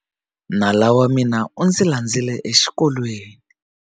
Nala wa mina u ndzi landzile exikolweni.